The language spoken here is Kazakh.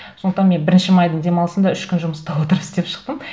сондықтан мен бірінші майдың демалысында үш күн жұмыста отырым істеп шықтым